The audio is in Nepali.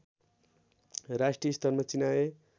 राष्ट्रिय स्तरमा चिनाए